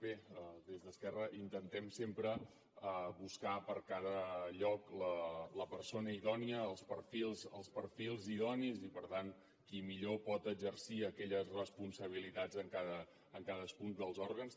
bé des d’esquerra intentem sempre buscar per a cada lloc la persona idònia els perfils idonis i per tant qui millor pot exercir aquelles responsabilitats en cadascun dels òrgans